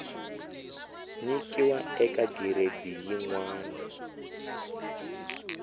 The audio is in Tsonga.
nyikiwa eka giredi yin wana